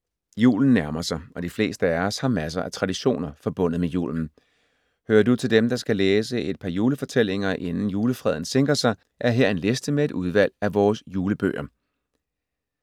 Julen nærmer sig og de fleste af os har masser af traditioner forbundet med julen. Hører du til dem, der skal læse et par julefortællinger inden julefreden sænker sig, er her en liste med et udvalg af vores julebøger.